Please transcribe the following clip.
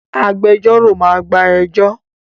Agbẹjọ́rò máa gba ẹjọ́